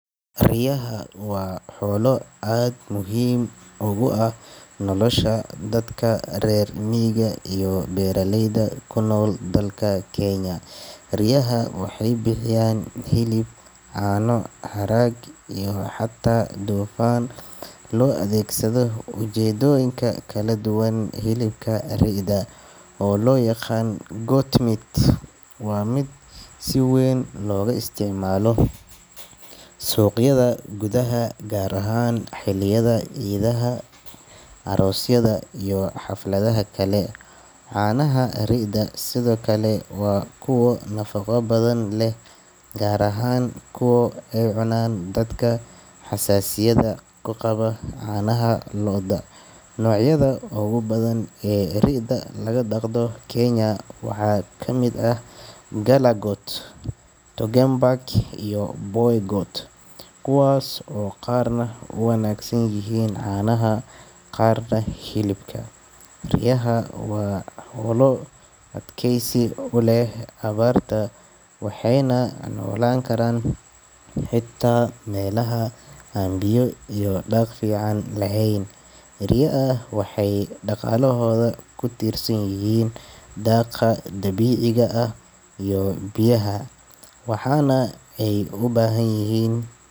Riyaha waa xoolo aad muhiim ugu ah nolosha dadka reer miyiga iyo beeraleyda ku nool dalka Kenya. Riyaha waxay bixiyaan hilib, caano, harag iyo xataa dufan loo adeegsado ujeedooyin kala duwan. Hilibka ri’da, oo loo yaqaan goat meat, waa mid si weyn looga isticmaalo suuqyada gudaha, gaar ahaan xilliyada ciidaha, aroosyada iyo xafladaha kale. Caanaha ri’da sidoo kale waa kuwo nafaqo badan leh, gaar ahaan kuwa ay cunaan dadka xasaasiyadda ka qaba caanaha lo’da. Noocyada ugu badan ee ri’da laga dhaqdo Kenya waxaa ka mid ah Galla goat, Toggenburg iyo Boer goat, kuwaas oo qaarna u wanaagsan yihiin caanaha, qaarna hilibka. Riyaha waa xoolo adkaysi u leh abaarta, waxayna noolaan karaan xitaa meelaha aan biyo iyo daaq fiican lahayn. Riyaha waxay dhaqaalahooda ku tiirsan yihiin daaqa dabiiciga ah iyo biyaha, waxaana ay u baahan yihiin.